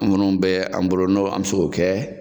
minnu bɛ an bolo n' an bɛ se k'o kɛ